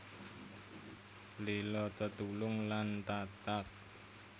Lila tetulung lan tatag